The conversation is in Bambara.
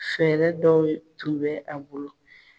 Fɛɛrɛ dɔw tun bɛ a bolo